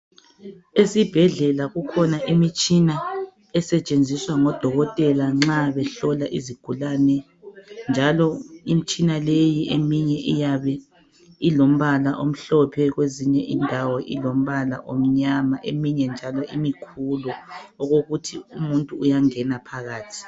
Esibhedlela kukhona imitshina esetshenziswa ngodokotela nxa behlola izigulani, njalo imitshina leyi eminye iyabe ilombala omhlophe. Kwezinye indawo ilombala omnyama, Eminye njalo iyabe imikhulu, okokuthi umuntu uyangena phakathi.